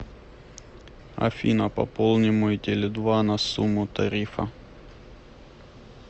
афина пополни мой теле два на сумму тарифа